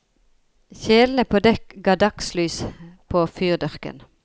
Kjelene på dekk ga dagslys på fyrdørken.